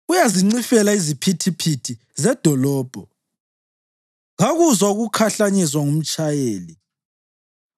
Uyazincifela iziphithiphithi zedolobho; kakuzwa ukukhahlanyezwa ngumtshayeli.